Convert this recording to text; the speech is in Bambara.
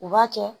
U b'a kɛ